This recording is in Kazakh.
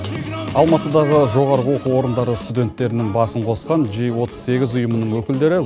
алматыдағы жоғарғы оқу орындары студенттерінің басын қосқан жи отыз сегіз ұйымының өкілдері